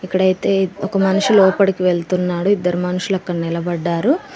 ఇక్కడైతే ఒక మనిషి లోపడికి వెళ్తున్నాడు ఇద్దరు మనుషులు అక్కడ నిలబడ్డారు.